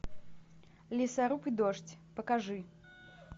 лесоруб и дождь покажи